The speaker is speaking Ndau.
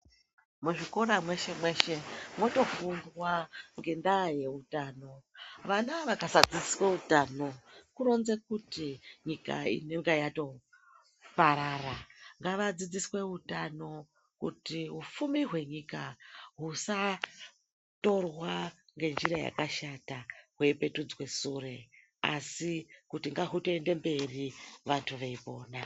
Muzvikora mweshe mweshe mwotofundwa ngendaa yeutano. Vana vakasadzidziswa utano kuronza kuti nyika inonge yatoparara. Ngavadzidziswe utano kuti upfumi hwenyika usatorwa ngenjira yakashata hweipetudzwe sure, asi kuti ngahutoenda mberi vantu veifunda.